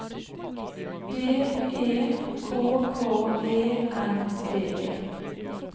D E K K E N D E